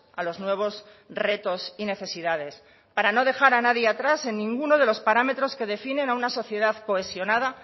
a los nuevos retos y necesidades para no dejar a nadie atrás en ninguno de los parámetros que definen a una sociedad cohesionada